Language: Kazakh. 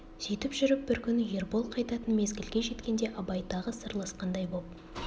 сүйтіп жүріп бір күні ербол қайтатын мезгілге жеткенде абай тағы да сырласқандай боп